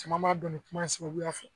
Caman b'a dɔn ni kuma sababuya fɛ